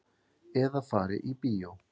Eða fari í bíó.